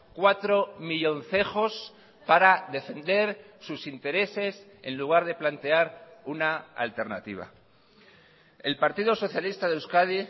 cuatro millóncejos para defender sus intereses en lugar de plantear una alternativa el partido socialista de euskadi